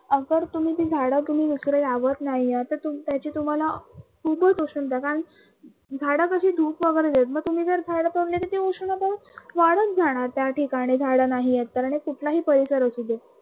अगर तुम्ही ते झाडं इकडे ते लावत नाही आहे तर ते त्याचे तुम्हाला जर तुम्ही जर झाडं तोडले तर ते उष्णता वाढत जाणार त्या ठिकाणी जर झाडं नाही आहेत तर, कुठलाही परिसर असू दे